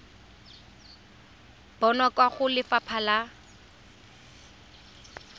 bonwa kwa go lefapha la